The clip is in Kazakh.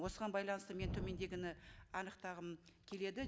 осыған байланысты мен төмендегіні анықтағым келеді